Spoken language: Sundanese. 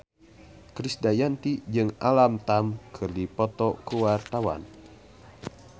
Krisdayanti jeung Alam Tam keur dipoto ku wartawan